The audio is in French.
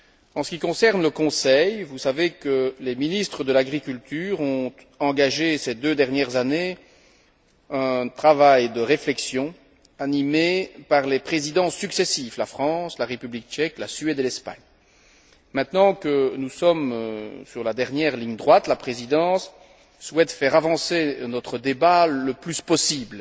En ce qui concerne le Conseil, vous savez que les ministres de l'agriculture ont engagé, ces deux dernières années, un travail de réflexion animé par les Présidences successives la France, la République tchèque, la Suède et l'Espagne. Maintenant que nous sommes dans la dernière ligne droite, la Présidence souhaite faire avancer notre débat le plus possible.